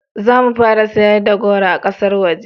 zamu fara sayarda da goro a ƙasan waje